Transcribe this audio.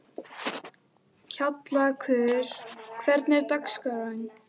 Kjallakur, hvernig er dagskráin?